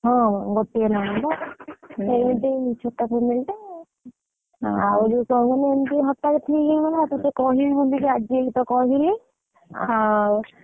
ହଁ ଗୋଟିଏ ନଣନ୍ଦ ଏମତି ଛୋଟ family ତ ଆହୁରି କଣ ଏମତି ହଠାତ ଠିକ ହେଇଗଲା ତତେ କହିବି ବୋଲି ତ ଆଜି ତ କହିଲି ଆଉ।